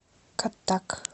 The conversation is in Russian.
каттак